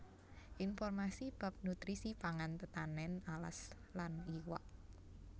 Informasi bab nutrisi pangan tetanèn alas lan iwak